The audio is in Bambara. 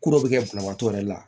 Ko dɔ bɛ kɛ banabaatɔ yɛrɛ la